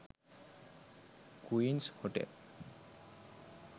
queens hotel